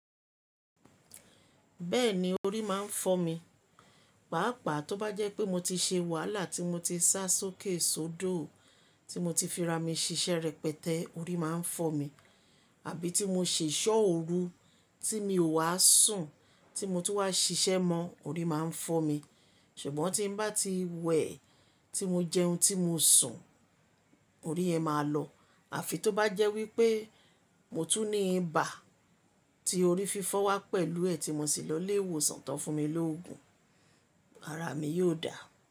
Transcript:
Bẹ́ẹ̀ni orí máa ń fọ́ mi, pàápàá tó bá jẹ́ pé mo ti ṣe wàhálà tí mo ti sá sókè sódò, tí mo ti fi ra mi ṣiṣẹ́ rẹpẹtẹ, orí máa ń fọ́ mi. Àbí tí mo ṣèṣọ́ ooru tí mi ò wá sùn, tí mo tú wá ṣiṣẹ́ mọ, orí máa ń fọ́ mi. Ṣùgbọ́n tí n bá ti wẹ̀, tí mo jẹun, tí mo sùn, orí yẹn máa lọ. Àfi tó bá jẹ́ wípé mo tún ní ibà tí orí fífọ́ wá pẹ̀lú ẹ̀ tí mo sì lọ ilé ìwòsàn tán fún mi lógun, ara mi yóò dà.